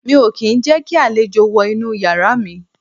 Mi ò kí ń jẹ́ kí àlejò wọ inú yàrá mi